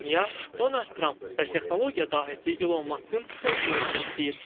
Dünya Donald Tramp və texnologiya dahisi İlon Maskın söz duelini izləyir.